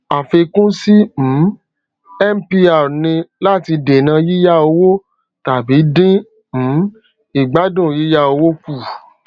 àfikún sí um mpr ni láti dènà yíyá owó tàbí dín um ìgbádùn yíyá owó kù